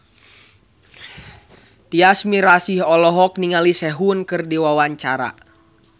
Tyas Mirasih olohok ningali Sehun keur diwawancara